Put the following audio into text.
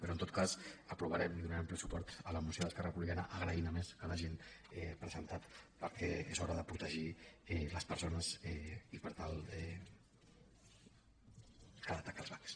però en tot cas aprovarem i donarem ple suport a la moció d’esquerra republicana agraint a més que l’hagin presentat perquè és hora de protegir les perso·nes i per tant cal atacar els bancs